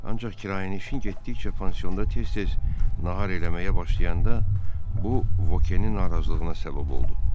Ancaq kirayənişin getdikcə pansionda tez-tez nahar eləməyə başlayanda bu Vokenin narazılığına səbəb oldu.